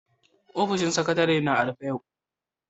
Ofishin Sakatare'n na a'rufe yau.